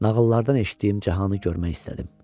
Nağıllardan eşitdiyim cahanı görmək istədim.